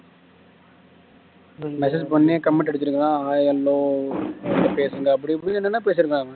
message பண்ணி comment அடிச்சிருக்கான் hai hello பேசுங்க அப்படி இப்படின்னு என்னென்ன பேசிருக்கான் இவன்